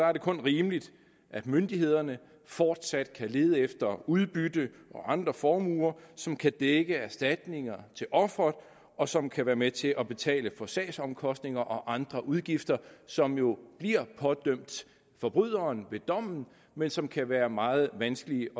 er det kun rimeligt at myndighederne fortsat kan lede efter udbytte og andre formuer som kan dække erstatninger til offeret og som kan være med til at betale for sagsomkostninger og andre udgifter som jo bliver pådømt forbryderen ved dommen men som kan være meget vanskelige